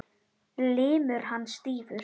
Limur hans stífur.